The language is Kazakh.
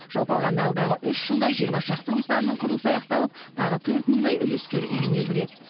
жалпы алғанда алдағы үш жылда жиырма шақты нысанның құрылысы аяқталып тағы төрт мыңдай үлескер үйіне кіреді